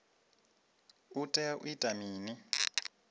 u tea u ita mini